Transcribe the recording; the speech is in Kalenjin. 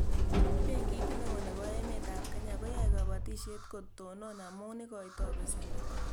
Benkit neo nebo emet ab Kenya koyae kabatishet kotonon amu ikoitoi pesendo